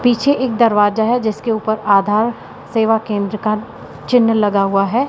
पीछे एक दरवाजा है जिसके ऊपर आधार सेवा केंद्र का चिन्ह लगा हुआ है।